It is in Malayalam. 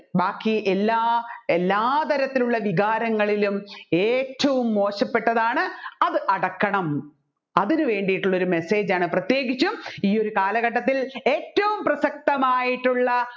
ബാക്കി എല്ലാ എല്ലാത്തരത്തിലുള്ള വികാരങ്ങളിലും ഏറ്റവും മോശപെട്ടതാണ് അത് അടക്കണം അതിനു വേണ്ടിയിട്ടുള്ള ഒരു message ആണ് പ്രത്യേകിച്ചും ഈ ഒരു കാലഘട്ടത്തിൽ ഏറ്റവും പ്രസക്തമായിട്ടുള്ള